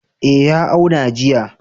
Eh ya auna jiya.